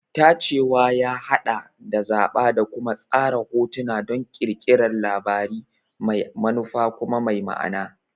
Tacewa ya haɗa da zaɓa da kuma tsara hotuna don ƙirƙirar labari mai manufa kuma mai ma'ana.